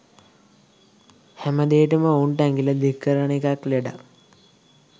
හැමදේටම ඔවුන්ට ඇඟිල්ල දික් කරන එකත් ලෙඩක්.